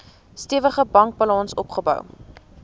stewige bankbalans opgebou